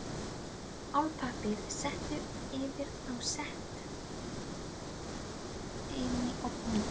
Álpappír settur yfir og sett inn í ofn við